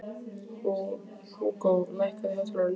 Húgó, lækkaðu í hátalaranum.